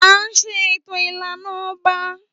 À ńṣe ètò ìlànà ọba.